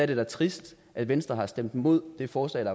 det da trist at venstre stemte imod det forslag